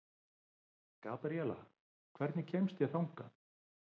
Gabriela, hvernig kemst ég þangað?